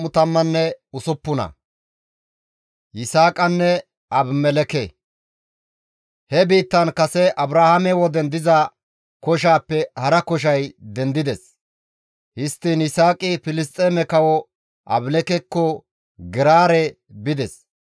He biittan kase Abrahaame woden diza koshaappe hara koshay dendides; histtiin Yisaaqi Filisxeeme kawo Abimelekkeko Geraare bides.